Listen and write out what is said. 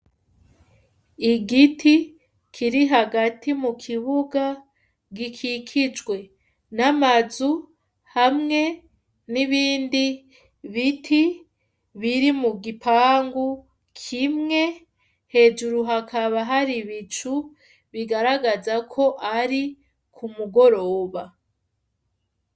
Igiti, kiri hagati mukibuga, gikikijwe n'amazu hamwe n'ibindi biti biri mugipangu kimwe, hejuru hakaba hari ibicu, bigaragaza ko ari ku mugoroba.